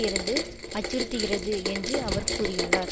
இருந்து அச்சுறுத்துகிறது என்று அவர் கூறியுள்ளார்